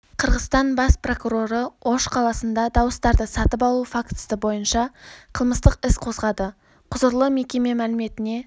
қырғызстан бас прокуроры ош қаласында дауыстарды сатып алу фактісі бойынша қылмыстық іс қозғады құзырлы мекеме мәліметіне